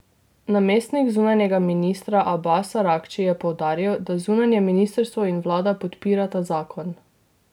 Namestnik zunanjega ministra Abas Aragči je poudaril, da zunanje ministrstvo in vlada podpirata zakon.